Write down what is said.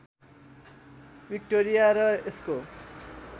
Victoria र यसको